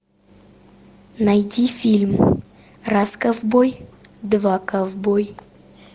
найди фильм раз ковбой два ковбой